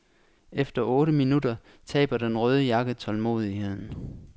Efter otte minutter taber den røde jakke tålmodigheden.